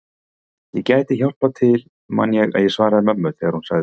Ég gæti hjálpað til man ég að ég svaraði mömmu þegar hún sagði